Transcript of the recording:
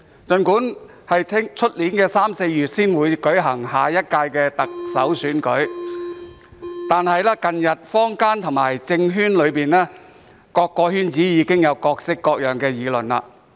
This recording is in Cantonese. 儘管下屆行政長官選舉在明年三四月才會舉行，但近日坊間、政圈以至各個圈子均已有各式各樣的議論。